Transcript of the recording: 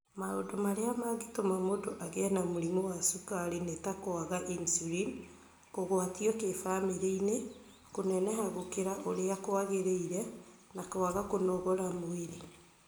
Maũndũ marĩa mangĩtũma mũndũ agĩe na mũrimũ wa cukari nĩ ta kwaga insulin, kũgwatio kĩbamĩrĩ-inĩ, kũneneha gũkĩra ũrĩa kwagĩrĩire, na kwaga kũnogora mĩĩrĩ.